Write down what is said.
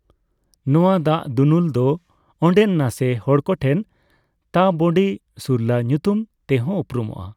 ᱱᱚᱣᱟ ᱫᱟᱜᱫᱩᱱᱩᱞ ᱫᱚ ᱚᱸᱰᱮᱱ ᱱᱟᱥᱮ ᱦᱚᱲ ᱠᱚᱴᱷᱮᱱ ᱛᱟᱸᱵᱚᱰᱤ ᱥᱩᱨᱞᱟ ᱧᱩᱛᱩᱢ ᱛᱮᱦᱚᱸ ᱩᱯᱨᱩᱢᱟ ᱾